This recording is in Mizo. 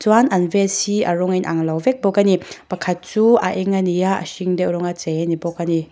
chuan an vest hi a rawng a inang lo vek bawk a ni pakhat chu a eng a ni a a hring deuh rawnga chei a ni bawk a ni.